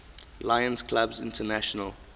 lions clubs international